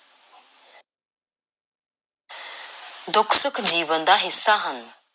ਦੁੱਖ–ਸੁੱਖ ਜੀਵਨ ਦਾ ਹਿੱਸਾ ਹਨ।